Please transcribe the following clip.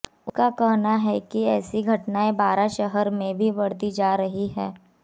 उनका कहना है कि ऐसी घटनाएं बारां शहर में भी बढ़ती जा रही हैं